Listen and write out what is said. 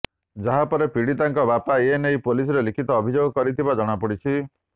ଯାହା ପରେ ପୀଡ଼ିତାଙ୍କ ବାପା ଏ ନେଇ ପୁଲିସରେ ଲିଖିତ ଅଭିଯୋଗ କରିଥିବା ଜଣା ପଡ଼ିଛି